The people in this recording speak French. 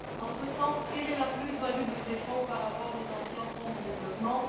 À cet égard, quelle est la plus value de ces fonds par rapport aux anciens fonds de développement?